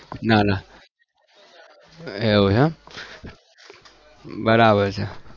ના ના એવું છે એમ બરાબર છે.